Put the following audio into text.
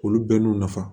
Olu bɛɛ n'u nafa